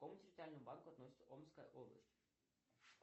к какому территориальному банку относится омская область